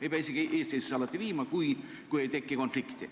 Ei pea küsimusi isegi mitte eestseisusesse viima, kui ei teki konflikti.